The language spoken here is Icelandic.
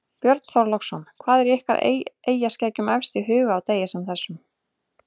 Björn Þorláksson: Hvað er ykkur eyjaskeggjum efst í huga á degi sem þessum?